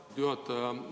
Aitäh, hea juhataja!